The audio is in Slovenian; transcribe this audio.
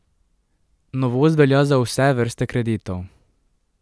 Novost velja za vse vrste kreditov.